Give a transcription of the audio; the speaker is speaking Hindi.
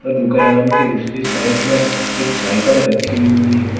दुकान की दूसरी साइड में एक साइकल रखी हुई है।